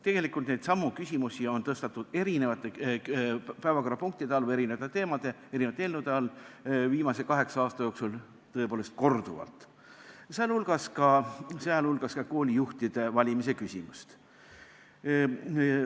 Tegelikult on neidsamu küsimusi tõstatatud eri päevakorrapunktide või eri teemade, eri eelnõude nime all viimase kaheksa aasta jooksul tõepoolest korduvalt, sh koolijuhtide valimise küsimust.